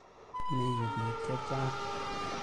Mi yu piik che chang'.